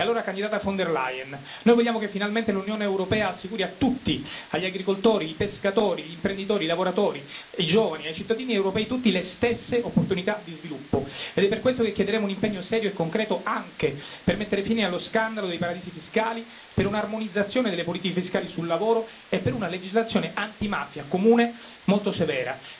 E allora, candidata von der Leyen, noi vogliamo che finalmente l'Unione europea assicuri a tutti, agli agricoltori, ai pescatori, agli imprenditori, ai lavoratori, ai giovani e ai cittadini europei tutti le stesse opportunità di sviluppo, ed è per questo che chiederemo un impegno serio e concreto anche per mettere fine allo scandalo dei paradisi fiscali, per un'armonizzazione delle politiche fiscali sul lavoro e per una legislazione antimafia comune molto severa.